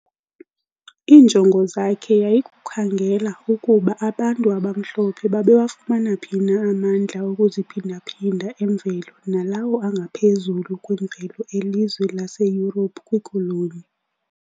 iinjongo zakhe yayikukhangela ukuba abantu abamhlophe babewafumana phi na amandla okuziphindaphinda emvelo nalawo angaphezulu kwemvelo elizwe laseYurophu kwiKoloni.